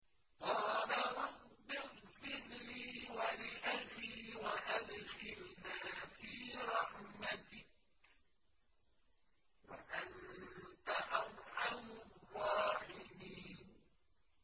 قَالَ رَبِّ اغْفِرْ لِي وَلِأَخِي وَأَدْخِلْنَا فِي رَحْمَتِكَ ۖ وَأَنتَ أَرْحَمُ الرَّاحِمِينَ